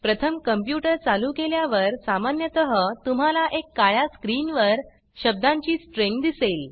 प्रथम कंप्यूटर चालू केल्यावर सामान्यत तुम्हाला एक काळ्या स्क्रीन वर शब्दांची स्ट्रिंग दिसेल